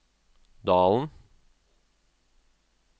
Dalen